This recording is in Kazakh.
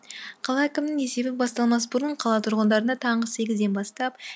қала әкімінің есебі басталмас бұрын қала тұрғындарына таңғы сегізден бастап